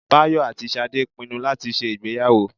Báyọ̀ àti Ṣadé pinnu láti ṣe ìgbéyàwó